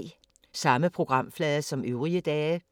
Samme programflade som øvrige dage